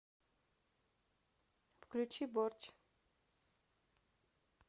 включи борч